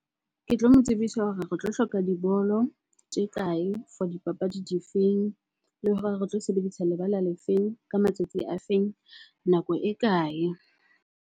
Ke tlo mo tsebisa hore re tlo hloka dibolo tse kae? For dipapadi di feng? Le sebedisa lebala le feng? Ka matsatsi a feng? Nako e kae?